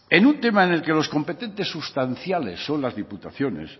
en un tema en el que los competentes sustanciales son las diputaciones